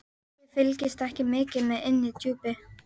Þið fylgist ekki mikið með inni í Djúpi.